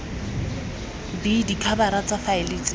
b dikhabara tsa faele tse